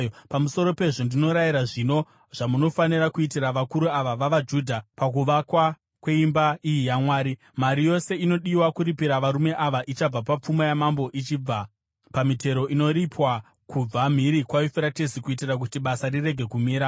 Pamusoro pezvo, ndinorayira zvino zvamunofanira kuitira vakuru ava vavaJudha, pakuvakwa kweimba iyi yaMwari: Mari yose inodiwa kuripira varume ava ichabva papfuma yamambo ichibva pamitero inoripwa kubva mhiri kwaYufuratesi, kuitira kuti basa rirege kumira.